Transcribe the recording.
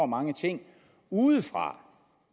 mange ting udefra